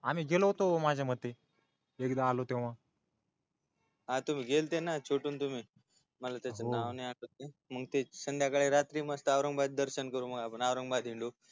आम्ही गेलो होतो माझ्या मते एकदा आलो तेव्हा हा तुम्हा गेलते ना छोटू आण तुम्ही मला त्याच नाव नाही आठवतय मग संध्याकाळी रात्री मस्त औरंगाबाद दर्शन करू औरंगाबाद हिंडू